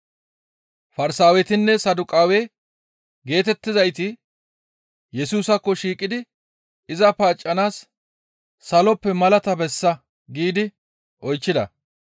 Farsaawetinne Saduqaawe geetettizayti Yesusaakko shiiqidi iza paaccanaas «Saloppe nuna malaata bessa» giidi oychchida.